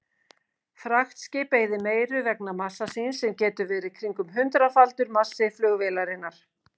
Fraktskip eyðir meiru vegna massa síns sem getur verið kringum hundraðfaldur massi flugvélarinnar.